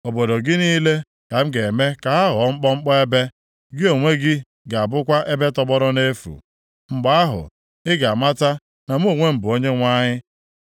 Obodo gị niile ka m ga-eme ka ha ghọọ mkpọmkpọ ebe, gị onwe gị ga-abụkwa ebe tọgbọrọ nʼefu. Mgbe ahụ, ị ga-amata na mụ onwe m bụ Onyenwe anyị.